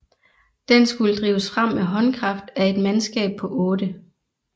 Den skulle drives frem med håndkraft af et mandskab på 8